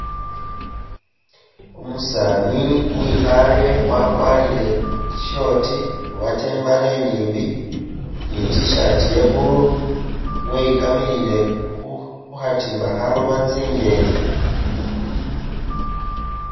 Umusani wikhale wakwarire i short obata imbale inyimbi ni t' shirt ya blue weyikamilile khukhatimba khaloba tsinyeni